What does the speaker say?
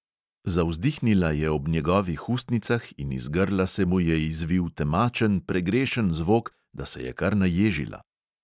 Zavzdihnila je ob njegovih ustnicah in iz grla se mu je izvil temačen, pregrešen zvok, da se je kar naježila.